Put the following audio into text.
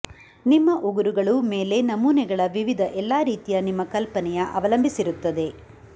ನಿಮ್ಮ ಉಗುರುಗಳು ಮೇಲೆ ನಮೂನೆಗಳ ವಿವಿಧ ಎಲ್ಲಾ ರೀತಿಯ ನಿಮ್ಮ ಕಲ್ಪನೆಯ ಅವಲಂಬಿಸಿರುತ್ತದೆ